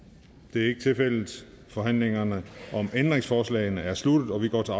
det er ikke tilfældet og forhandlingen om ændringsforslagene er sluttet og vi går til